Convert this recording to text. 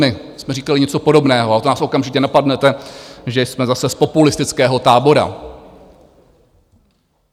My jsme říkali něco podobného, a vy nás okamžitě napadnete, že jsme zase z populistického tábora.